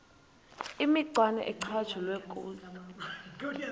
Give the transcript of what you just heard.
imicwana ecatshulwe kuzo